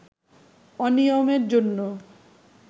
অনিয়মের জন্য